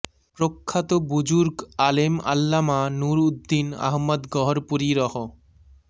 প্রখ্যাত বুজুর্গ আলেম আল্লামা নূর উদ্দিন আহমদ গহরপুরী রহ